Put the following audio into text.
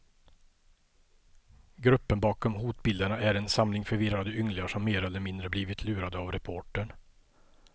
Gruppen bakom hotbilderna är en samling förvirrade ynglingar, som mer eller mindre blivit lurade av reportern.